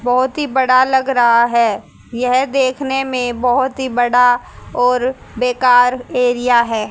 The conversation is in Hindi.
बहोत ही बड़ा लग रहा है यह देखने में बहोत ही बड़ा और बेकार एरिया है।